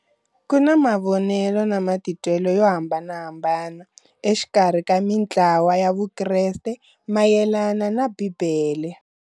Kuna mavonele na matitwele yo hambanahambana exikarhi ka mintlawa ya vukreste mayelana na Bibele.